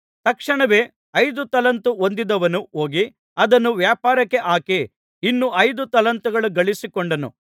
ತಕ್ಷಣವೇ ಐದು ತಲಾಂತು ಹೊಂದಿದವನು ಹೋಗಿ ಅದನ್ನು ವ್ಯಾಪಾರಕ್ಕೆ ಹಾಕಿ ಇನ್ನೂ ಐದು ತಲಾಂತು ಗಳಿಸಿಕೊಂಡನು